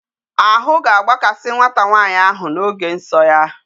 Ahụ ga-agbakasị nwata nwanyị ahụ n'oge nsọ ya.